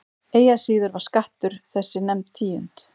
Eigi að síður var skattur þessi nefnd tíund.